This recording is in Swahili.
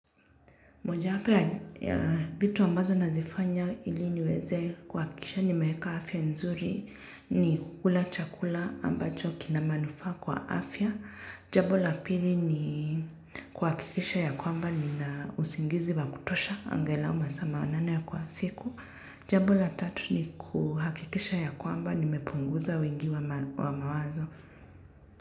Moja wapo ya vitu ambazo nazifanya ili niweze kuhakikisha nimeweka afya nzuri ni kukula chakula ambacho kina manufaa kwa afya. Jambo la pili ni kuhakikisha ya kwamba ninausingizi wa kutosha. Angalau masaa manane kwa siku. Jambo la tatu ni kuhakikisha ya kwamba nimepunguza wengi wa mawazo.